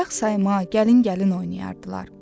Ayaq sayma, gəlin-gəlin oynayardılar.